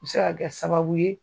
O bi se kɛ sababu ye